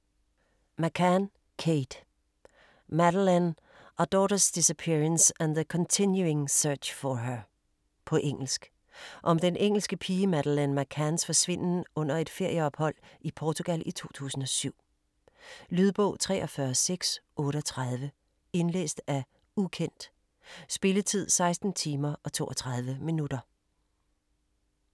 McCann, Kate: Madeleine: our daugther's disappearence and the continuing search for her På engelsk. Om den engelske pige Madeleine McCanns forsvinden under et ferieophold i Portugal i 2007. Lydbog 43638 Indlæst af ukendt. Spilletid: 16 timer, 32 minutter.